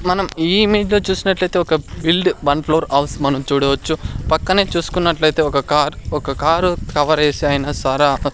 మనం ఈ మినిట్లో చూసినట్లయితే ఒక బిల్డ్ వన్ ఫ్లోర్ హౌస్ మనం చూడవచ్చు పక్కనే చూసుకున్నట్లయితే ఒక కార్ ఒక కారు కవరేసే ఆయన సారా అప --